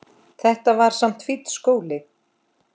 Þetta var samt fínn skóli.